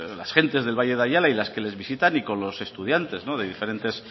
las gentes del valle de ayala y las que le visitan y con los estudiantes de diferentes